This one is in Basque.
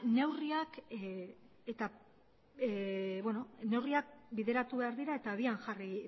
neurriak bideratu behar dira eta abian jarri